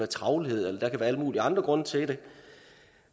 travlhed eller der kan være alle mulige andre grunde til det